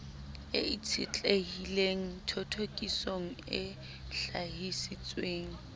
e itshetlehileng thothokisong e hlahisitsweng